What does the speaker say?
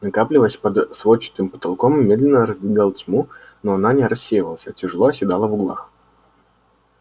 накапливаясь под сводчатым потолком медленно раздвигал тьму но она не рассеивалась а тяжело оседала в углах